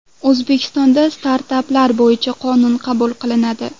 O‘zbekistonda startaplar bo‘yicha qonun qabul qilinadi.